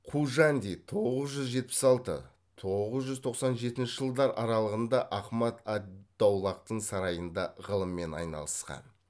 қужанди тоғыз жүз жетпіс алты тоғыз жүз тоқсан жетінші жылдар аралығында ахмад ад даулахтың сарайында ғылыммен айналысқан